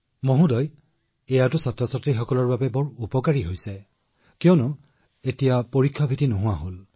মহোদয় এইটো শিশুসকলৰ বাবে আটাইতকৈ উপযোগী কিয়নো পৰীক্ষাৰ ভয় যি প্ৰতিখন ঘৰতে আছে